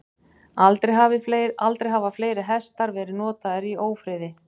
Aldrei hafa fleiri hestar verið notaðir í ófriði.